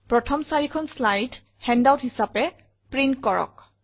প্ৰথম ৪খন slide handout হিচাপে প্ৰিণ্ট কৰক